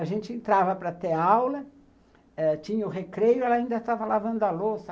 A gente entrava para ter aula eh, tinha o recreio, ela ainda estava lavando a louça.